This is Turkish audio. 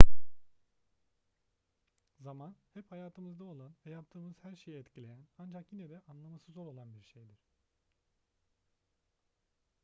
zaman hep hayatımızda olan ve yaptığımız her şeyi etkileyen ancak yine de anlaması zor olan bir şeydir